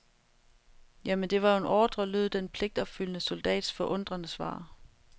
Jamen det var jo en ordre lød den pligtopfyldende soldats forundrede svar.